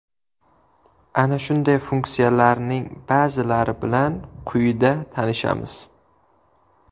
Ana shunday funksiyalarning ba’zilari bilan quyida tanishamiz.